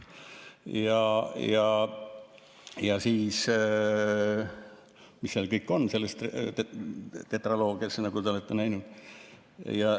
Ja mis kõik seal selles tetraloogias on, nagu te olete näinud.